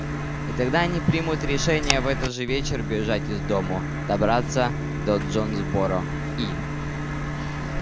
и тогда они примут решение в этот же вечер бежать из дому добраться до джонсборо и